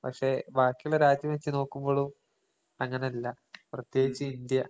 പക്ഷെ ബാക്കീള്ള രാജ്യത്തിനെ വെച്ച് നോക്കുമ്പോളും അങ്ങനല്ല. പ്രത്യേകിച്ച് ഇന്ത്യ.